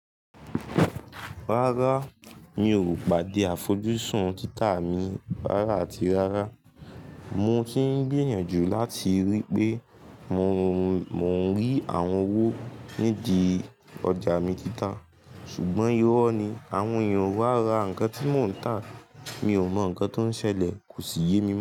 Rárá, mi ò pàdé àfojúsùn títà mi rárá àti rárá. Mo ti ń gbìyànjú láti ríi pé mò ń rí àwọn owó nídi ọjà mi títà. Ṣùgbọ́n ìro ni àwọn èèyàn o wá ra nǹkan tí mò ń tà. Mi ò mọ nǹkan tó ń ṣẹlẹ̀, kò sì yé mi mọ.